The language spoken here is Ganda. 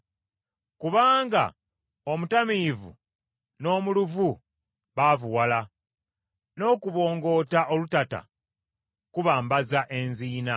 Kubanga omutamiivu n’omuluvu baavuwala, n’okubongoota olutata kubambaza enziina.